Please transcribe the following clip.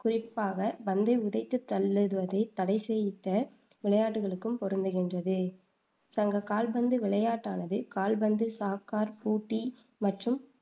குறிப்பாக பந்தை உதைத்துத் தள்ளுவதைத் தடைச் செய்த விளையாட்டுக்களுக்கும் பொருந்துகின்றது. சங்கக் கால்பந்து விளையாட்டானது கால்பந்து, சாக்கர், பூட்டி மற்றும்